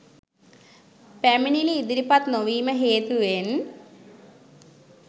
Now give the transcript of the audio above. පැමිණිලි ඉදිරිපත් නොවීම හේතුවෙන්